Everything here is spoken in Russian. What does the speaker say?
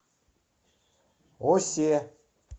осе